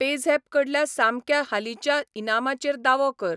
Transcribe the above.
PayZapp कडल्या सामक्या हालींच्या इनामाचेर दावो कर.